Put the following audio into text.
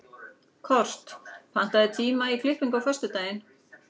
Kort, pantaðu tíma í klippingu á föstudaginn.